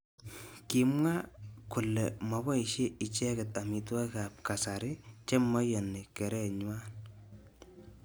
Kimwa kole maboishe icheket amitwogik ab kasari chemaiyoni kerenywa.